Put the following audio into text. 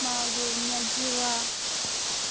могу у меня дела